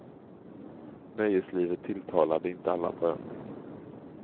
Nöjeslivet tilltalade inte alla på ön.